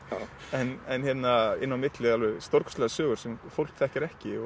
en inn á milli alveg stórkostlegar sögur sem fólk þekkir ekki